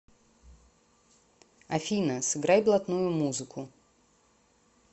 афина сыграй блатную музыку